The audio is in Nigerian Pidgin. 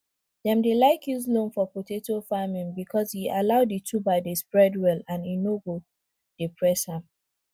dem dey like use loam for potato farming because e allow di tuber dey spread well and e nor go dey press am